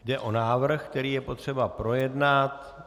Jde o návrh, který je potřeba projednat.